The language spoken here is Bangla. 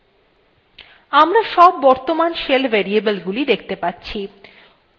আমরা সব বর্তমান shell variableগুলি সেখতে পাচ্ছি